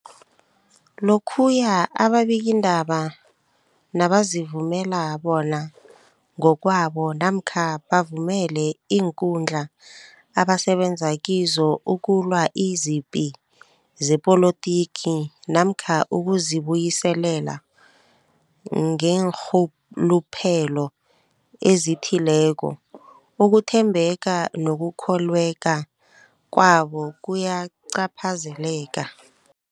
Lokhuya ababikiindaba nabazivumela bona ngokwabo namkha bavumele iinkundla abasebenza kizo ukulwa izipi zepolitiki namkha ukuzi buyiselela ngeenrhuluphelo ezithileko, ukuthembeka nokukholweka kwabo kuyacaphazeleka.